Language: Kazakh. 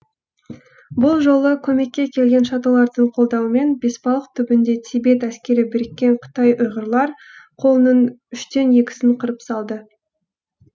бұл жолы көмекке келген шатолардың қолдауымен бесбалық түбінде тибет әскері біріккен қытай ұйғырлар қолының үштен екісін қырып салды